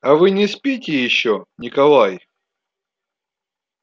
а вы не спите ещё николай